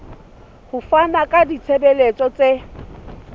ho fana ka ditshebeletso tse